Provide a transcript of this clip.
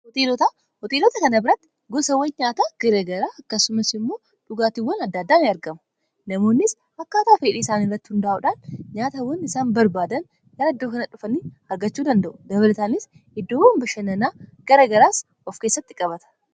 Hoteelota kana biratti gosaawwan nyaataa garagaraa akkasumas immoo dhugaatiiwwan addaaddaanin argamu. Namoonnis akka ataa feedhii isaan irratti hundaa'uudhaan nyaatawwan isaan barbaadan gara iddoo kana dhufan argachuu danda'u. Dabalataanis iddoowwan bashannanaa gara garaas of keessatti qabata.